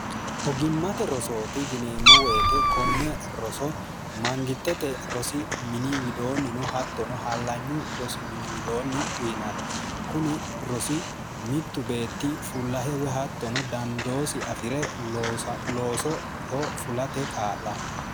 ogimmate rosooti yineemmo woyite konne roso mangittete rosi miniwidoonnino hattono hallanyu rosi miniwidoonni uyinanni kuni rosi mittu beetti fullahewe hattono dandoosi afi're loosoho fulate kaa'lanni